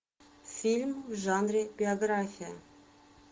фильм в жанре биография